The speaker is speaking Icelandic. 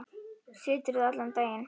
Siturðu allan daginn?